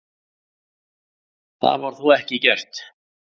Það var þó ekki gert.